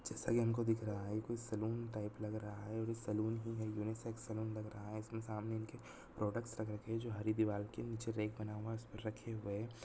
जैसा हमको दिखरा है ये कुछ सेलून टाइप लग रहा है इस सैलून ही है उनिसेक्स सैलून लग रहा है एक समान लग रहा है के सामने उनके प्रोडक्ट्स होते हैं जो हरी दीवार के नीचे देख बना हुआ रखे गए।